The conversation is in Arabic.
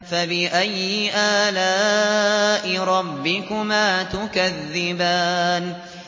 فَبِأَيِّ آلَاءِ رَبِّكُمَا تُكَذِّبَانِ